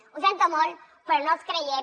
ho sento molt però no els creiem